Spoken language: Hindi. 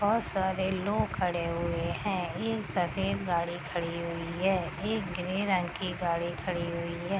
बहुत सारे लोग खड़े हुए हैं तीन सफदे गाड़ी खड़ी हुई है एक ग्रीन रंग की गाड़ी खड़ी हुई है।